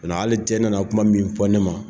Hali cɛ nana kuma min fɔ ne ma